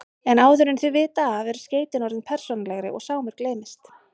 En áður en þau vita af eru skeytin orðin persónulegri og Sámur gleymist.